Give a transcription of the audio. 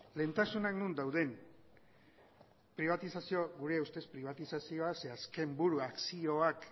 lehentasunak non daude gure ustez pribatizazioa ze azken buru akzioak